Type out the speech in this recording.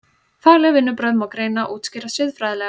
Fagleg vinnubrögð má því greina og útskýra siðfræðilega.